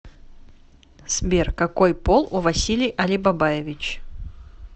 сбер какой пол у василий алибабаевич